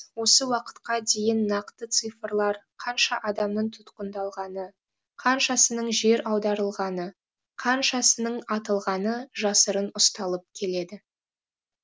осы уақытқа дейін нақты цифрлар қанша адамның тұтқындалғаны қаншасының жер аударылғаны қаншасының атылғаны жасырын ұсталып келеді